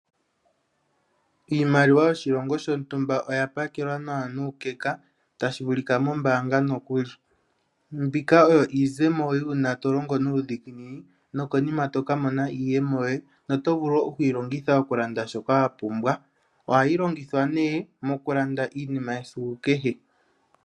Iimaliwa yoshilongo shontumba oya pakelwa nawa nuukeka tashi vulika mombaanga nokuli. Mbika oyo iizemo yuuna to longo nuudhiginini nokonima toka mona iiyemo yoye notovulu okuyi longitha shoka wa pumbwa. Ohayi longithwa nee mokulanda iinima yesiku kehe.